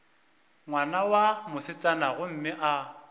ngwana wa mosetsana gomme a